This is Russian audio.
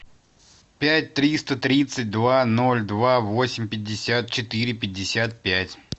пять триста тридцать два ноль два восемь пятьдесят четыре пятьдесят пять